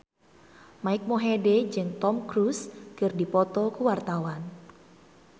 Mike Mohede jeung Tom Cruise keur dipoto ku wartawan